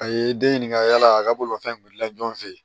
A ye den ɲininga yala a ka bolomafɛn kun wulila ɲɔgɔn fɛ yen